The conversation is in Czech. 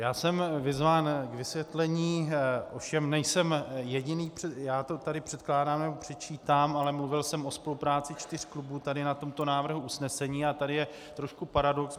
Já jsem vyzván k vysvětlení, ovšem nejsem jediný - já to tady předkládám nebo předčítám, ale mluvil jsem o spolupráci čtyř klubů tady na tomto návrhu usnesení, a tady je trošku paradox.